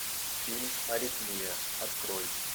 фильм аритмия открой